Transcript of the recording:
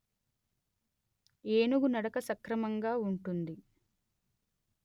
ఏనుగు నడక సక్రంమంగా వుంటుంది